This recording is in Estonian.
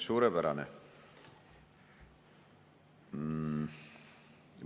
Suurepärane.